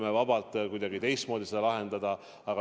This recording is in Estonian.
See tuleb kuidagi teistmoodi lahendada.